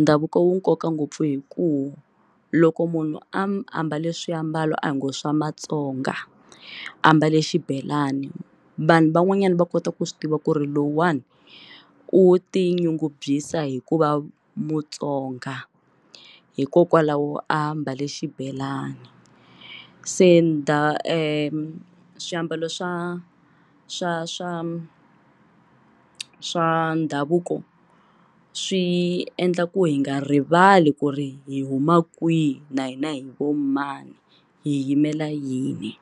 ndhavuko wu nkoka ngopfu hi ku loko munhu a ambale swiambalo a hi ngo swa maTsonga ambale xibelani vanhu van'wanyana va kota ku swi tiva ku ri lowuwani u tinyungubyisa hi ku va mutsonga hikokwalaho a mbale xibelani se swiambalo swa swa swa swa ndhavuko swi endla ku hi nga rivali ku ri hi huma kwihi na hina hi vo mani hi yimela yini.